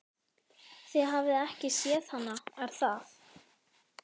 Þið hafið ekki séð hana, er það?